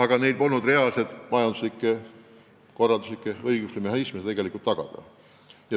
Samas polnud maavalitsustel piisavalt majanduslikke, korralduslikke ega õiguslikke mehhanisme, et seda arengut tegelikult tagada.